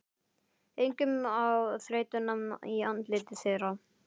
Einkum á þreytuna í andliti þeirra.